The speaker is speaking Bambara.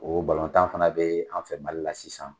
O balɔntan fana be an fɛ mali la sisan.